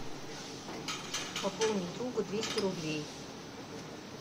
пополнить другу двести рублей